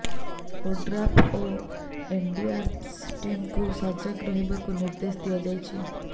ODRAF ଓ NDRF ଟିମ୍କୁ ସଜାଗ ରହିବାକୁ ନିର୍ଦ୍ଦେଶ ଦିଆଯାଇଛି